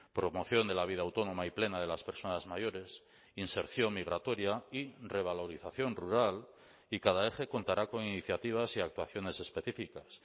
promoción de la vida autónoma y plena de las personas mayores inserción migratoria y revalorización rural y cada eje contará con iniciativas y actuaciones específicas